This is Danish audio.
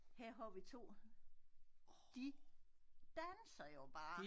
Her har vi 2 de danser jo bare